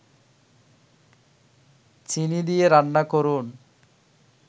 চিনি দিয়ে রান্না করুন